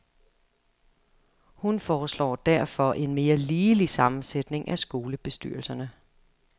Hun foreslår derfor en mere ligelig sammensætning af skolebestyrelserne.